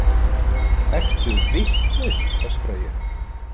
Ertu vitlaus, öskra ég.